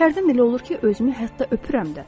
Hərdən elə olur ki, özümü hətta öpürəm də.